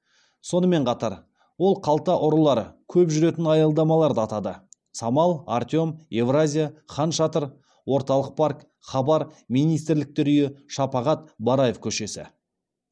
сонымен қатар ол қалта ұрылары көп жүретін аялдамаларды атады самал артем евразия хан шатыр орталық парк хабар министрліктер үйі шапағат бараев көшесі